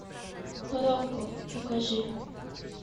рокко покажи